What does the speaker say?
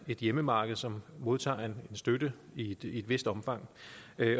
et hjemmemarked som modtager støtte i et vist omfang